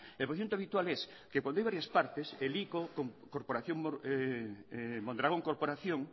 el procedimiento habitual es que cuando hay varias partes el ico mondragón corporación